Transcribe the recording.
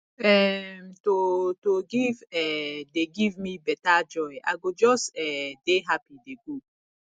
um to to give um dey give me beta joy i go just um dey happy dey go